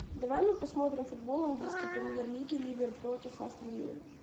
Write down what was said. давай мы посмотрим футбол английской премьер лиги ливер против астон виллы